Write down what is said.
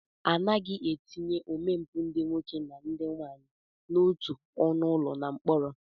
Anaghị etinye omempụ ndị nwoke na ndị nwaanyị n'otu ọnụụlọ na mkpọrọ